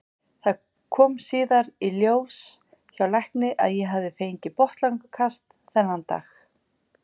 Það kom síðar í ljós hjá lækni að ég hafði fengið botnlangakast þennan dag.